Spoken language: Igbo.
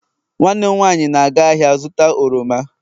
nwanne m nwanyi na-aga ahia zuta oroma